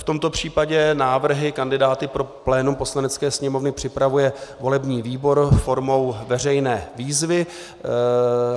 V tomto případě návrhy kandidátů pro plénum Poslanecké sněmovny připravuje volební výbor formou veřejné výzvy.